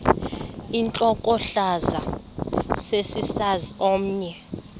intlokohlaza sesisaz omny